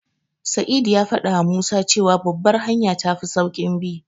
Sa'idu ya faɗawa Musa cewa Babbar hanya tafi sauƙin bi.